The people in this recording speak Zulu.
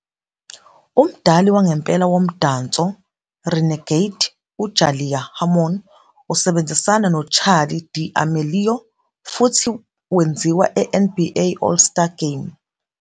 "Umdali wangempela womdanso 'Renegade' uJalaiah Harmon usebenzisane noCharli D'Amelio futhi wenziwa eNBA All-Star Game".